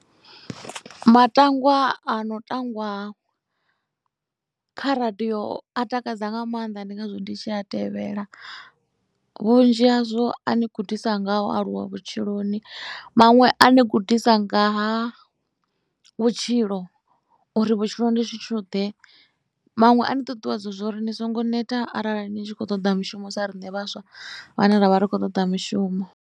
Matangwa ano tangwa kha radio a takadza nga maanḓa ndi ngazwo ndi tshi a tevhela vhunzhi hazwo a ni gudisa ngaha u aluwa vhutshiloni. Maṅwe a ni gudisa ngaha vhutshilo uri vhutshilo ndi tshithuḓe. Maṅwe a ni ṱuṱuwedza zwo ri ni songo neta arali ni tshi khou toḓa mishumo sa riṋe vhaswa vhane ra vha ri khou toḓa mishumo.